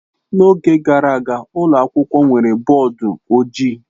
N'oge gara aga, ụlọ akwụkwọ nwere bọọdụ ojii.